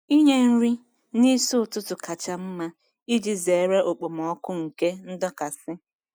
Inye nri n'isi ụtụtụ kacha mma iji zere okpomọkụ nke ndọkasị